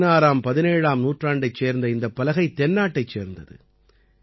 16ஆம்17ஆம் நூற்றாண்டைச் சேர்ந்த இந்தப் பலகை தென்னாட்டைச் சேர்ந்தது